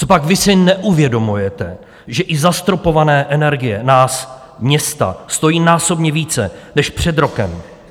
Copak vy si neuvědomujete, že i zastropované energie nás města stojí násobně více než před rokem?